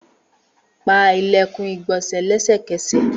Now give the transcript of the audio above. Pa ilẹkun igbonse lẹsẹkẹsẹ!